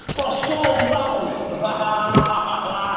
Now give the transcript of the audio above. пошёл нахуй ахаха ахаха